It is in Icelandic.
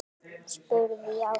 spurði ég Ásu.